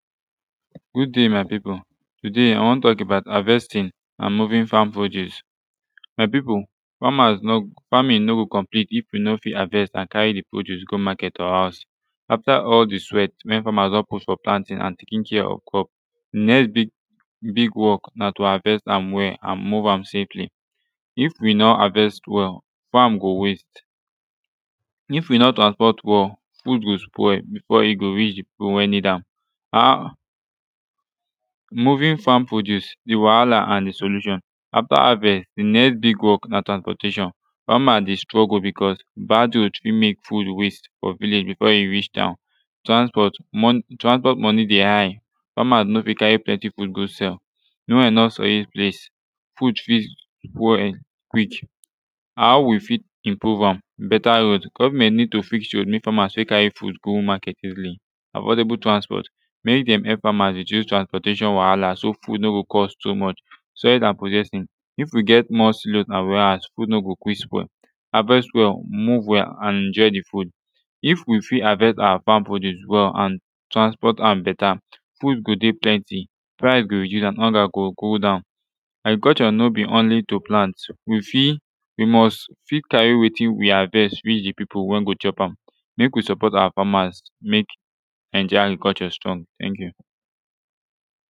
good day my pipu today i wan tok about havestin an movin fam produce my pipu famas no famin no go complete if yu no fit havest an cari de produce go maket or houz afta al de sweat wey famas don put fo planting an taking care of crop de next big big work na to havest am well an move am safely if we no havest well farm go waste if we no transport well food go spoil befo e go reach de pipu wey nid am movin farm produce de wahala an de solution after havest de next big work na transportation fama de struggle becuz bad road fit mek food waste fo village befo e reach town transport transport monie de high famas no fit cari plenti food go sel de one wey e no solid face food fit quick how we fit improve am beta road government nid to fix road mek famas fit carry go maket easily affordable transport mek dem help famas reduce transportation wahala so food no go cost too much soil an processing if wi get more slot food no go kwik spoil havest wel move wel an enjoy de food if we fit havest awa fam produce well and transport han beta food go dey plenti price use dat one go go down agriculture no be only to plant wi fit wi must fit carry wetin we havest reach de pipu wey go chop am mek we suport awa farmers mek naija agriculture strong ten k yu